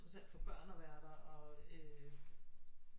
Interessant for børn at være der og øh